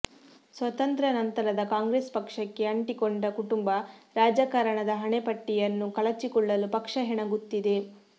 ಸ್ವಾತಂತ್ರ್ಯಾ ನಂತರದ ಕಾಂಗ್ರೆಸ್ ಪಕ್ಷಕ್ಕೆ ಅಂಟಿಕೊಂಡ ಕುಟುಂಬ ರಾಜಕಾರಣದ ಹಣೆಪಟ್ಟಿಯನ್ನು ಕಳಚಿಕೊಳ್ಳಲು ಪಕ್ಷ ಹೆಣಗುತ್ತಿದೆ